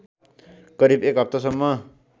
करिब एक हप्तासम्म